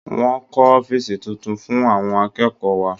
Wọ́n kọ́ ọ́fíìsì tuntun fún àwọn akẹ́kọ̀ọ́ wa.